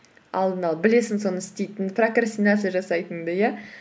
алдын ала білесің соны істейтініңді прокрастинация жасайтыныңды иә